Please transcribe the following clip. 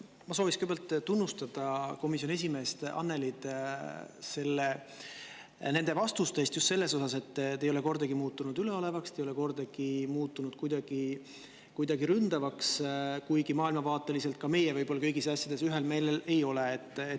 Ma soovin kõigepealt tunnustada komisjoni esimeest Annelyt vastuste eest ja just selles mõttes, et te ei ole kordagi muutunud üleolevaks, te ei ole kordagi muutunud kuidagi ründavaks, kuigi maailmavaateliselt ka meie võib-olla kõigis asjades ühel meelel ei ole.